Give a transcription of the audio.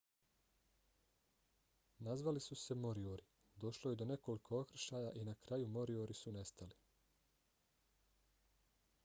nazvali su se moriori došlo je do nekoliko okršaja i na kraju moriori su nestali